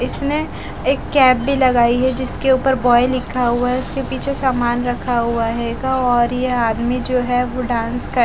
इसने एक कैप भी लगाई है जिसके ऊपर बॉय लिखा हुआ है उसके पीछे सामान रखा हुआ है और यह आदमी जो है वो डांस कर --